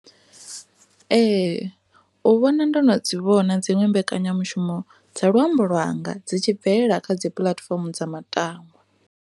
Ee, u vhona ndo no dzi vhona dziṅwe mbekanyamushumo dza luambo lwanga dzi tshi bvelela kha dzipuḽatifomo dza matangwa.